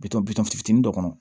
Bitɔn bitɔn fitinin dɔ kɔnɔ